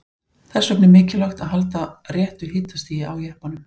Þess vegna er mikilvægt að halda réttu hitastigi á jeppanum.